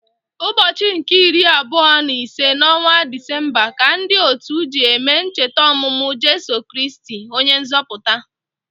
Ụbọchị nke iri abụọ na ise n’ọnwa Disemba ka ndị otu ji eme ncheta ọmụmụ Jeso Kristi, onye nzọpụta.